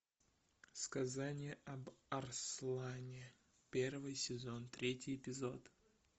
сказание об арслане первый сезон третий эпизод